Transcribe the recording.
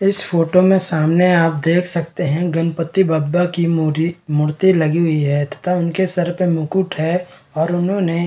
इस फोटो में सामने आप देख सकते हैं गणपति बप्पा की मुरी मूर्ति लगी हुई है तथा उनके सर पर मुकुट है और उन्होंने --